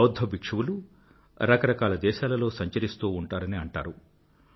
బౌధ్ధ భిక్షువులు రకరకాల దేశాలలో సంచరిస్తూ ఉంటారని అంటారు